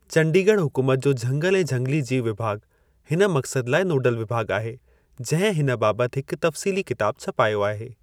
चंडीगढ़ हुकूमत जो झंगल ऐं झंगिली-जीव विभाॻु हिन मक़्सद लाइ नोडल विभाॻु आहे जंहिं हिन बाबति हिक तफ़्सीली किताब छपायो आहे।